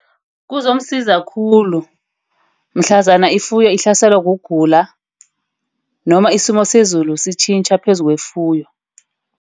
Kuzomsiza khulu mhlazana ifuyo ahlaselwe kugula noma isimo sezulu sitjhintja phezu kwefuyo.